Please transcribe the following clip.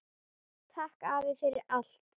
Takk afi, fyrir allt.